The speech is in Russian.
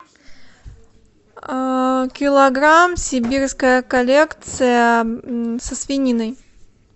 килограмм сибирская коллекция со свининой